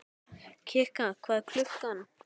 Kikka, hvað er klukkan?